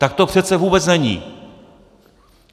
Tak to přece vůbec není!